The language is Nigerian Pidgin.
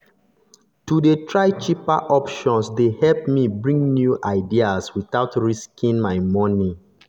to dey try cheaper options dey help me bring new ideas without risking my money.